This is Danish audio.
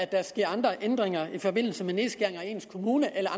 der sker andre ændringer i forbindelse med nedskæringer i ens kommune eller